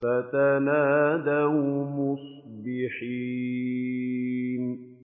فَتَنَادَوْا مُصْبِحِينَ